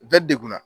Bɛɛ degunna